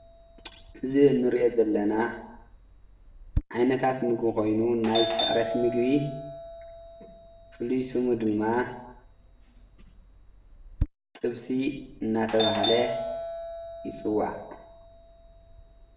እዚ እንሪኦ ዘለና ዓይነታት ምግቢ ኮይኑ ናይ ስዕረት ምግቢ ፍሉይ ስሙ ድማ ጥብሲ እናተባሃለ ይፅዋዕ።